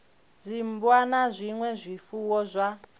dzimmbwa na zwinwe zwifuwo zwa